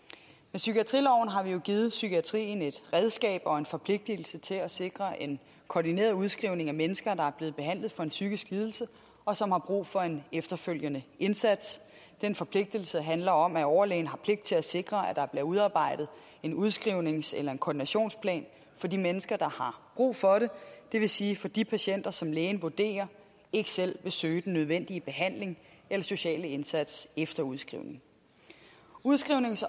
psykiatriloven har vi jo givet psykiatrien et redskab og en forpligtelse til at sikre en koordineret udskrivning af mennesker der er blevet behandlet for en psykisk lidelse og som har brug for en efterfølgende indsats den forpligtelse handler om at overlægen har pligt til at sikre at der bliver udarbejdet en udskrivnings eller en koordinationsplan for de mennesker der har brug for det det vil sige for de patienter som lægen vurderer ikke selv vil søge den nødvendige behandling eller sociale indsats efter udskrivningen udskrivnings